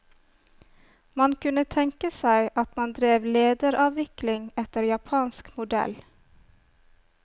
Man kunne tenke seg at man drev lederavviklng etter japansk modell.